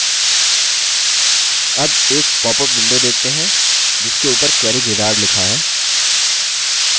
अब हम एक पॉपअप window देखते हैं जिसके उपर query wizard लिखा है